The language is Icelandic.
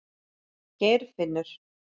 Geirfinnur